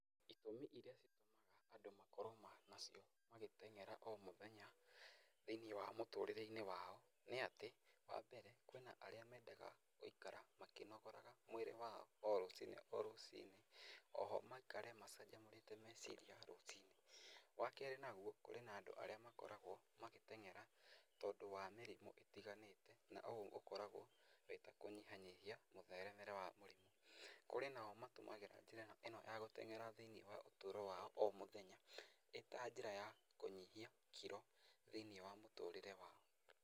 Itũmi iria citũmaga andũ makorwo nacio magĩteng'era o mũthenya thĩ-inĩ wa mũtũrĩre wao nĩ atĩ, wa mbere kwĩna arĩa mendaga gũikara makĩnogoraga mwĩrĩ wao o rũciinĩ rũciinĩ, o ho maikare macanjamũrĩte meciria rũciinĩ, wa kerĩ naguo, kũrĩ na andũ arĩa makoragwo magĩteng'era tondũ wa mĩrimũ ĩtiganĩte, na ũũ ũkoragwo wĩ ta kũnyihanyihia mũtheremere wa mũrimũ. Kũrĩ nao matũmagĩra njĩra ĩno ya gũteng'era thĩ-inĩ wa ũtũro wao o mũthenya, ĩ ta njĩra ya kũnyihia kiro thĩ-inĩ wa mũtũrĩre wao.